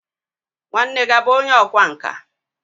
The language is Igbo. nwanne gi bu onye ọkwá nka?